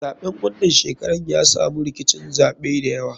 Zaɓen wanan shekarar ya samu rkicin zaɓe dayawa.